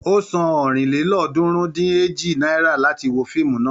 Ó san ọ̀rìnlélọ́ọ̀ọ́dúnrún-dín-èjì náírà láti wo fíìmù náà.